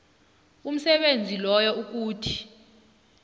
umsebenzi loyo ukuthi